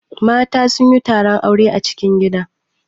Mata sun yi taron aure a cikin gida.